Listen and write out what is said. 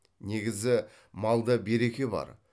негізі малда береке бар